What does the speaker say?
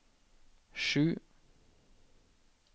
sju